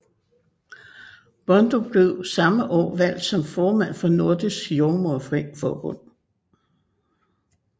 Bondo blev samme år valgt som formand for Nordisk Jordemoder Forbund